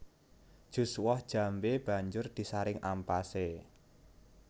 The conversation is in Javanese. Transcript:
Jus woh jambé banjur disaring ampasé